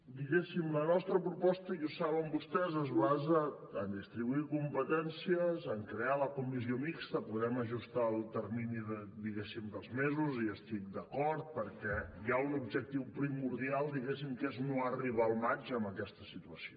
diguéssim la nostra proposta i ho saben vostès es basa a distribuir competències a crear la comissió mixta podem ajustar els terminis dels mesos hi estic d’acord perquè hi ha un objectiu primordial diguéssim que és no arribar al maig amb aquesta situació